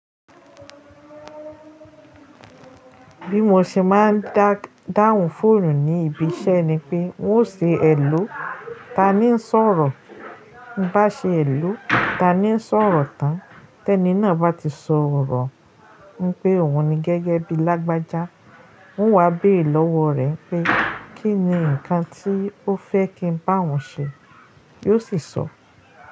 Bí mo ṣe máa ń dá, dáhùn fóònù ní ibi iṣẹ́ ni pé ń ó ṣe èlò, taàní ń sọ̀rọ̀? Bá ṣe hèlò, taàní ń sọ̀rọ̀ tán. Tẹ́ẹ́ ni náà bá ti sọ̀rọ̀, ń pe òun ni gẹ́gẹ́ bíi lágbájá, ń wá béèrè lọ́wọ́ rẹ̀ pé kí ni nǹkan tí ó fẹ́ kí ń bá òun ṣe, yóò sì sọ.